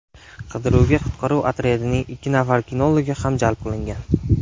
Qidiruvga qutqaruv otryadining ikki nafar kinologi ham jalb qilingan.